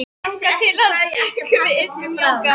Þangað til að hann tekur til við iðkun jóga.